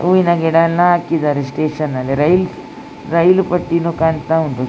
ಹೂವಿನ ಗಿಡವನ್ನು ಹಾಕಿದ್ದಾರೆ ಸ್ಟೇಷನ್ ಅಲ್ಲಿ ರೈಲ್ ರೈಲು ಪಟ್ಟಿನೂ ಕಾಣ್ತಾ ಉಂಟು --